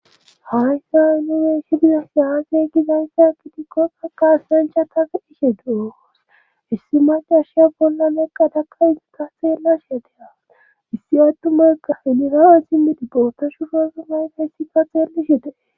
Hayssa inue shidida aase gizayssa akitikko aqaasnancha tagi ishe du'oos issi madashya bolla leqqa taka iitaseela shateha issi addumaoga iniraoe simidi bootashu rosumay keessi ka xeellishete.